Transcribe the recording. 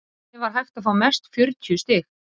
þannig var hægt að fá mest fjörutíu stig